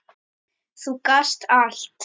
Þú gast allt.